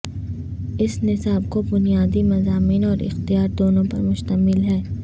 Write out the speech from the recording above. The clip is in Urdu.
اس نصاب کو بنیادی مضامین اور اختیار دونوں پر مشتمل ہے